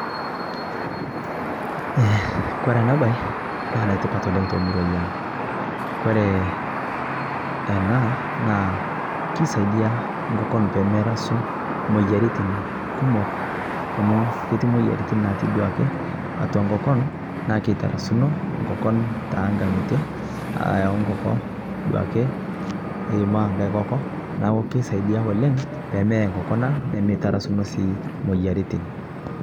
Kore ana bai naa netipat oleng te muruai ang Kore anaa naa keisaidia nkokon pemerasuu moyaritin kumok amu ketii moyaritin natii duake atua nkokon naa keitarasunoo nkokon tankangitee ayau nkokoo eimaa nghai kokoo naaku keisaidia oleng pemee nemeitarasunoo sii moyaritin